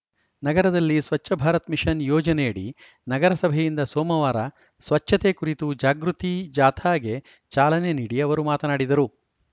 ನಗರದಲ್ಲಿ ಸ್ವಚ್ಛ ಭಾರತ್‌ ಮಿಷನ್‌ ಯೋಜನೆಯಡಿ ನಗರಸಭೆಯಿಂದ ಸೋಮವಾರ ಸ್ವಚ್ಛ ತೆ ಕುರಿತು ಜಾಗೃತಿ ಜಾಥಾಗೆ ಚಾಲನೆ ನೀಡಿ ಅವರು ಮಾತನಾಡಿದರು